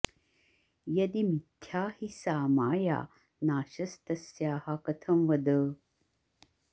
यदि मिथ्या हि सा माया नाशस्तस्याः कथं वद